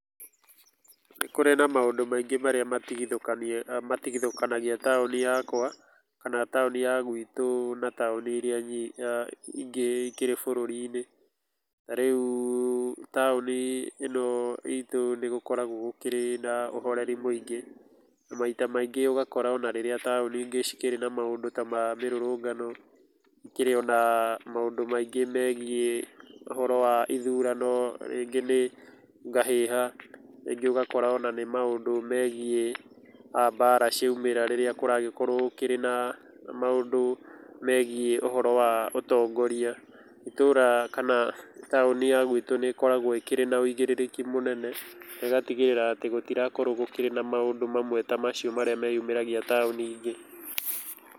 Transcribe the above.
Nĩ kũrĩ na maũndũ maingĩ marĩa matigithũkanagia taũni yakwa, kana taũni ya gwitũ na taũni iria ingĩ ikĩrĩ bũrũri-inĩ, tarĩu taũni ĩno itũ nĩ gũkoragwo gũkĩrĩ na ũhoreri mũingĩ, na maita maingĩ ona ũgakũra rĩrĩa taũni iria ingĩ ikĩrĩ na maũndũ ma mĩrũrũngano gũkĩrĩ na maũndũ maingĩ megiĩ ithurano rĩngĩ nĩ ngahĩha rĩngĩ ũgakora nĩ maũndũ megiĩ mbara cia umĩra rĩrĩa kũragĩkorwo kũrĩ na maũndũ megiĩ ũhoro wa ũtongoria, itũũra kana taũni ya gwitũ nĩkoragwo ĩkĩrĩ na wũigĩrĩki mũnene negatigĩrĩrĩra atĩ gũtirakorwo gũkĩrĩ na maũndũ mamwe ta macio marĩa meyumagĩria taũni ingĩ.